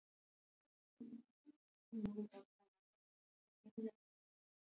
Leitarstarf er enn í fullum gangi